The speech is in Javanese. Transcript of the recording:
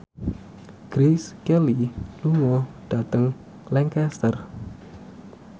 Grace Kelly lunga dhateng Lancaster